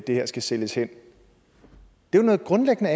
det her skal sælges hen det er jo grundlæggende